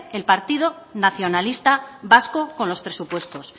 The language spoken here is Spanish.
el partido nacionalista vasco con los presupuestos